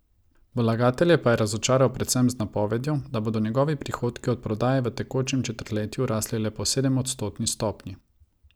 Vlagatelje pa je razočaral predvsem z napovedjo, da bodo njegovi prihodki od prodaje v tekočem četrtletju rasli le po sedemodstotni stopnji.